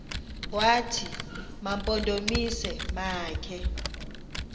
wathi mampondomise makhe